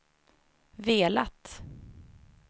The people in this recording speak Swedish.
velat